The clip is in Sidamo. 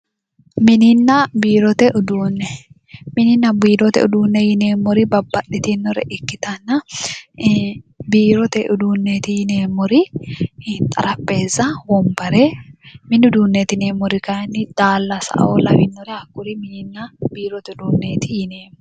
mininna biirote uuunne mininna biirote uduunne yineemmori babbaxitinnore ikkitanna biirote uduunneeti yineemmoori xaraphezza wombare mini uduunneeti yineemmori daallasaoo lawinnoritinna hakkuri biirote uduunneeti yineemmo.